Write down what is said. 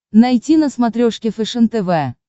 найти на смотрешке фэшен тв